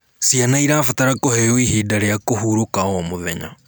Ciana irabatara kũheo ihinda rĩa kũhũrũka o mũthenya